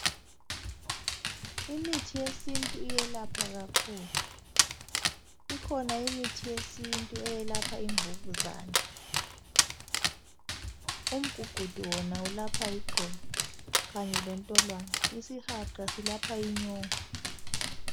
Imithi yesintu iyelapha kakhulu, ikhona imithi yesintu eyelapha imvukuzane. Umgugudu wona ulapha iqolo kanye lentolwane, isihaqa silapha inyongo.